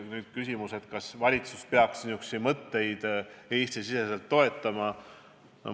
Nüüd küsimus, kas valitsus peaks selliseid mõtteid Eesti-siseselt toetama.